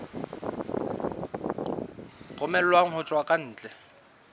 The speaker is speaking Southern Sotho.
romellwang ho tswa ka ntle